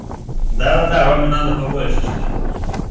да-да-да роме надо побольше что-нибудь